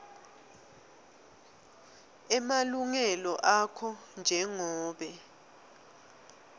emalungelo akho njengobe